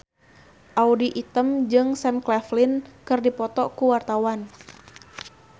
Audy Item jeung Sam Claflin keur dipoto ku wartawan